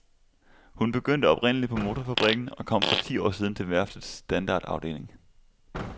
Hun begyndte oprindelig på motorfabrikken og kom for ti år siden til værftets standardafdeling.